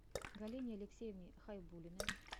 галине алексеевне хайбуллиной